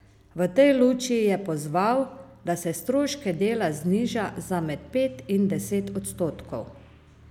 V tej luči je pozval, da se stroške dela zniža za med pet in deset odstotkov.